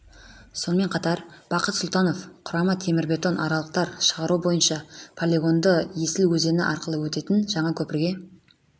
сонымен қатар бақыт сұлтанов құрама темірбетон арқалықтар шығару бойынша полигонды есіл өзені арқылы өтетін жаңа көпірге